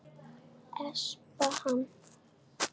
Espa hann.